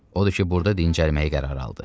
Odur ki, burada dincəlməyə qərar aldı.